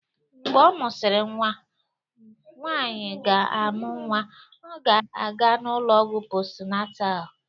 Mgbe ọ mụsịrị nwa, nwanyị ga-amụ nwa ọ ga-aga n'ụlọọgwụ post natal